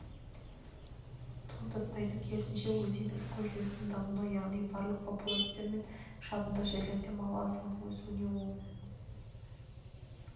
туындатпайды керісінше өзеннің экожүйесінің дамуына яғни балық популяциясы мен шабындық жерлерде мал азығының өсуіне оң